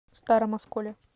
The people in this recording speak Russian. старом осколе